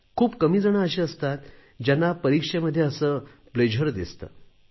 खूप कमी जणं अशी असतात ज्यांना परीक्षेमध्ये असा आनंद दिसतो